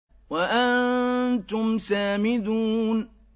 وَأَنتُمْ سَامِدُونَ